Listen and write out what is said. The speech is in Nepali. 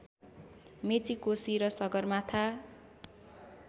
मेची कोशी र सगरमाथा